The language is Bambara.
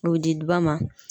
O di di ba ma.